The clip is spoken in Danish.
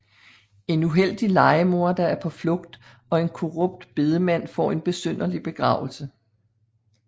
En uheldig lejemorder er på flugt og en korrupt bedemand får en besynderlig begravelse